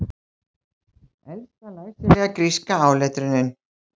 Elsta læsilega gríska áletrunin